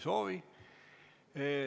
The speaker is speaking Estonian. Ei soovi.